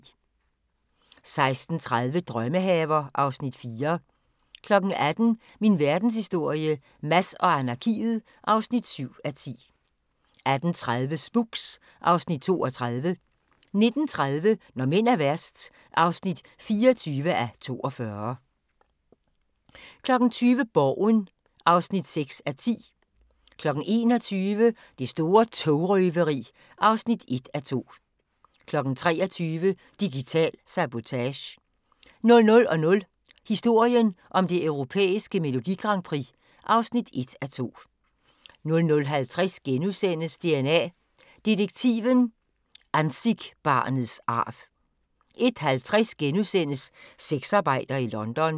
16:30: Drømmehaver (Afs. 4) 18:00: Min verdenshistorie - Mads og anarkiet (7:10) 18:30: Spooks (Afs. 32) 19:30: Når mænd er værst (24:42) 20:00: Borgen (6:10) 21:00: Det store togrøveri (1:2) 23:00: Digital sabotage 00:00: Historien om det europæiske Melodi Grand Prix (1:2) 00:50: DNA Detektiven – Anzick-barnets arv * 01:50: Sexarbejder i London *